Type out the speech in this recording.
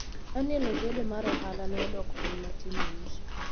Daniel Ojode mar ohala ne odok piny matin e uso,